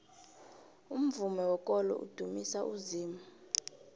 umvumo wekolo udumisa uzimu